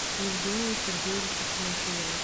евгения сергеевича тимофеева